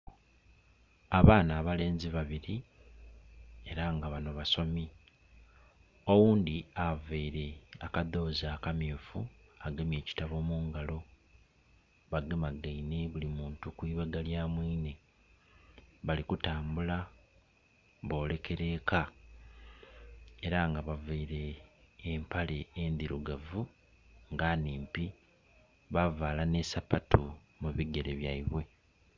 Abaana abalenzi babiri era nga bano basomi, oghundi availe adhozi akamyufu agamye ekitabo mu ngalo bagemagaine buli muntu ku ibega lyamuine, bali kutambula, boolekera eka era nga bavaile empale endirugavu nga nnimpi bavaala ne sapatu mu bigere byaibwe.